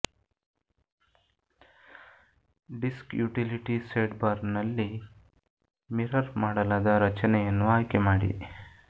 disc utility ಸೈಡ್ಬಾರ್ನಲ್ಲಿ mirror ಮಾಡಲಾದ ರಚನೆಯನ್ನು ಆಯ್ಕೆ ಮಾಡಿ